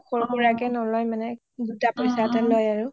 সৰু সুৰা কে নলৈ আৰু গুটা পইছাটে লয় আৰু